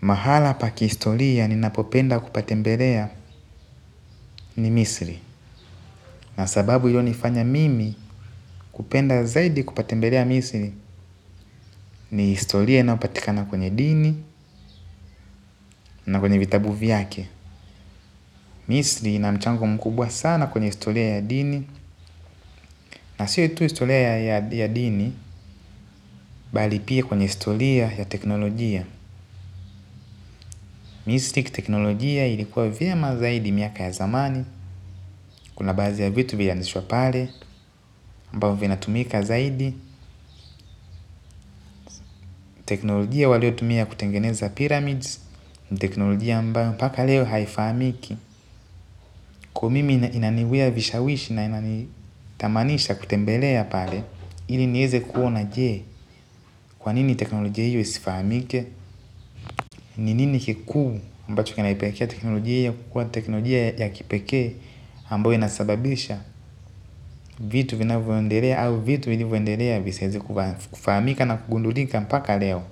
Mahala pa kihistoria ni napopenda kupatembelea ni misri. Na sababu ilio nifanya mimi kupenda zaidi kupatembelea misri ni historia inayopatikana kwenye dini na kwenye vitabu vyake. Misri ina mchango mkubwa sana kwenye historia ya dini. Na sio tu historia ya dini bali pia kwenye historia ya teknolojia. Misri kiteknolojia ilikuwa vyema zaidi miaka ya zamani. Kuna baadhi ya vitu vili anzishwa pale. Ambavyo vinatumika zaidi. Teknolojia walio tumia kutengeneza pyramids ni teknolojia ambayo paka leo haifahamiki. Kwa mimi inaniwia vishawishi na inanitamanisha kutembelea pale ili nieze kuona jee kwa nini teknolojia hiyo isifahamike ni nini kikuu ambacho kina ipelekea technologia hii ya kuwa ni technologia ya kipekee ambayo inasababisha vitu vinavyo endelea au vitu vilivyo endelea visiweze kufahamika na kugundulika mpaka leo.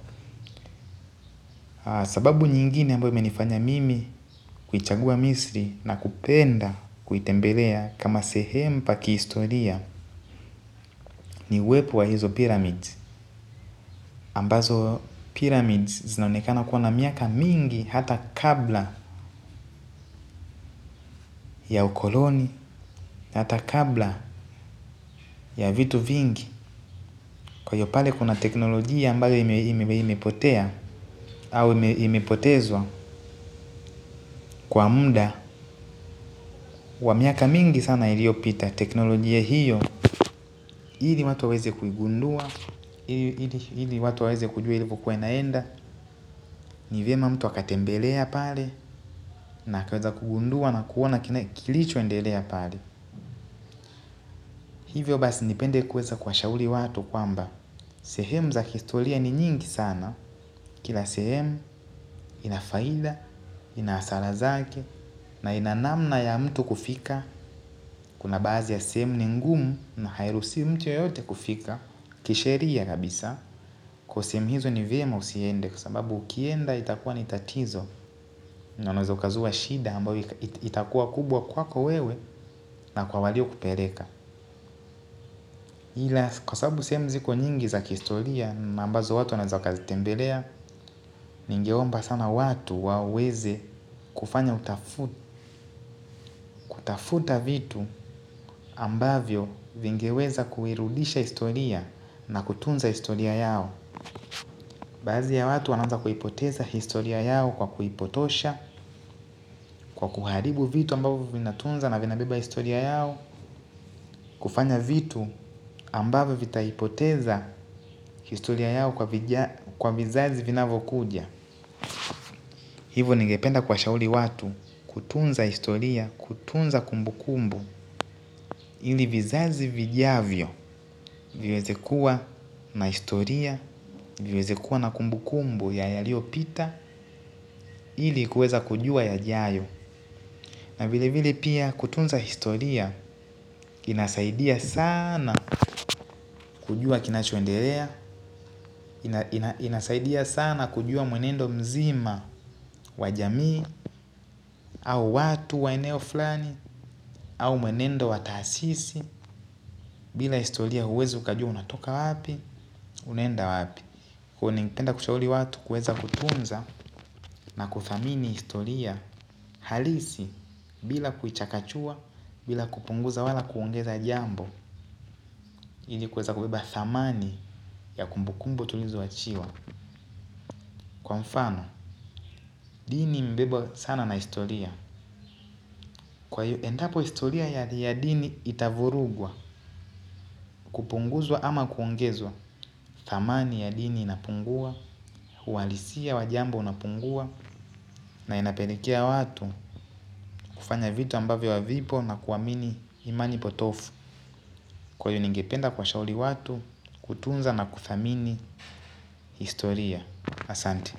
Sababu nyingine ambayo imenifanya mimi kuichagua misri na kupenda kuitembelea kama sehemu pa kihistoria ni uwepo wa hizo pyramids ambazo pyramids zinaonekana kuwa na miaka mingi hata kabla ya ukoloni hata kabla ya vitu vingi. Kwa hio pale kuna teknolojia ambayo imepotea au imepotezwa kwa muda wa miaka mingi sana iliyopita teknolojia hiyo ili watu waweze kuigundua ili watu waweze kujua ilikokuwa inaenda. Ni vyema mtu akatembelea pale na akaweza kugundua na kuona kilicho endelea pale. Hivyo basi nipende kueza kuwashauri watu kwamba sehemu za historia ni nyingi sana. Kila sehemu inafaida, inahasara zake na ina namna ya mtu kufika kuna baadhi ya sehemu ni ngumu na hairuhusiwi mtu yeyote kufika kisheria kabisa, kwa hio sehemu hizo ni vyema usiende kwa sababu ukienda itakuwa ni tatizo na unaweza ukazua shida ambayo itakuwa kubwa kwako wewe na kwa walio kupeleka ila kwa sababu seheme ziko nyingi za kihistoria na ambazo watu wanaeza wakazi tembelea ningeomba sana watu waweze kufanya utafu, kutafuta vitu ambavyo vingeweza kuirudisha historia na kutunza historia yao. Baadhi ya watu wanaanza kuipoteza historia yao kwa kuipotosha, kwa kuharibu vitu ambavyo vina tunza na vinabeba historia yao. Kufanya vitu ambavyo vitaipoteza historia yao kwa vizazi vinavokuja. Hivo ningependa kuwashauri watu kutunza historia, kutunza kumbu kumbu ili vizazi vijavyo viweze kuwa na historia, viweze kuwa na kumbu kumbu ya yaliopita ili kuweza kujua ya jayo. Na vile vile pia kutunza historia inasaidia sana kujua kinachoendelea, inasaidia sana kujua mwenendo mzima wa jamii au watu wa eneo flani au mwenendo wa taasisi, bila historia huwezi ukajua unatoka wapi, unaenda wapi. Kuwa ningependa kushauli watu kueza kutunza na kudhamini historia halisi bila kuichakachua bila kupunguza wala kuongeza jambo ili kueza kubeba dhamani ya kumbukumbo tulizo wachiwa kwa mfano, dini imebebwa sana na historia kwa hio endapo historia ya dini itavurugwa kupunguzwa ama kuongezwa, dhamani ya dini inapungua, uhalisia wa jambo unapungua na inapelekea watu kufanya vitu ambavyo havipo na kuamini imani potovu, kwa hio ningependa kuwa shauri watu kutunza na kuthamini historia asante.